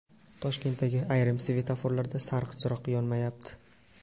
Toshkentdagi ayrim svetoforlarda sariq chiroq yonmayapti.